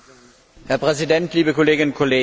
Herr Präsident, liebe Kolleginnen und Kollegen!